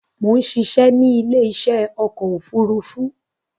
Mo ń ṣiṣẹ́ ni ile isẹ́ ọkọ̀ òfúrúúfú